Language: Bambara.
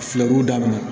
Filɛbuw dabila